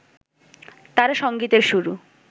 তাঁর সঙ্গীতের শুরু